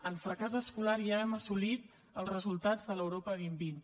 en fracàs escolar ja hem assolit els resultats de l’europa dos mil vint